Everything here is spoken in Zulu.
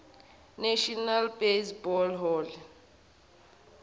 national baseball hall